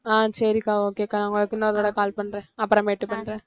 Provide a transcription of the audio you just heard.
ஆஹ் சரிக்கா okay க்கா நான் உங்களுக்கு இன்னொரு தடவ call பண்றேன் அப்புறமேட்டு பண்றேன்